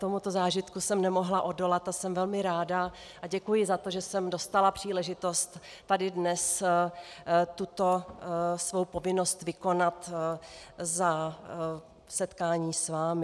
Tomuto zážitku jsem nemohla odolat a jsem velmi ráda a děkuji za to, že jsem dostala příležitost tady dnes tuto svou povinnost vykonat za setkání s vámi.